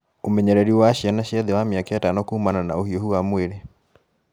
Ũmenyereri wa ciana cia thĩ wa mĩaka ĩtano kuumana na ũhiũhu wa mwĩrĩ